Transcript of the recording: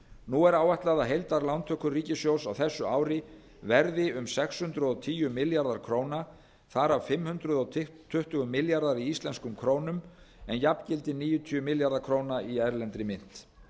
nú er áætlað að heildarlántökur ríkissjóðs á þessu ári verði um sex hundruð og tíu milljarðar króna þar af fimm hundruð tuttugu milljarðar í íslenskum krónum en jafngildi níutíu milljarða króna í erlendri mynt